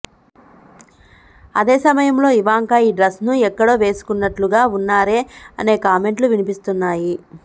అదే సమయంలో ఇవాంకా ఈ డ్రెస్ను ఎక్కడో వేసుకున్నట్లుగా ఉన్నారే అనే కామెంట్లు వినిపిస్తున్నాయి